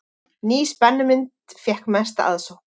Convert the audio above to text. Ný spennumynd fékk mesta aðsókn